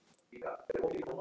Hjól? æpti Tóti.